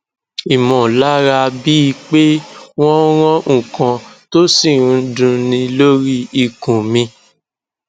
imolara bii pe wo n ran nkan to si n n dunni lori ikun mi